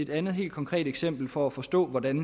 andet helt konkret eksempel for at forstå hvordan